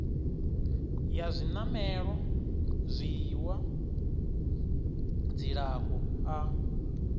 ya zwinamelwa zwiiwa dzilafho a